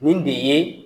Nin de ye